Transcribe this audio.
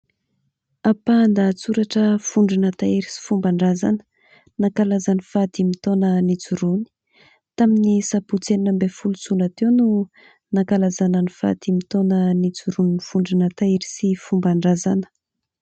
Ampahan-dahatsoratra vondrona tahiry sy fomban-drazana nankalaza ny fahadimy taona nijoroany. Tamin'ny sabotsy enina ambin'ny folo jona teo no nankalazana ny fahadimy taona nijoroan'ny vondrona tahiry sy fomban-drazana.